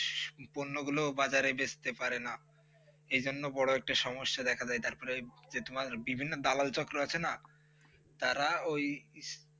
porn গুলো বাজারে বেচতে পারে না এজন্য বড় একটা সমস্যা দেখা যায় তারপরে এই যে তোমার বিভিন্ন দালাল চক্র আছে না তারা ওই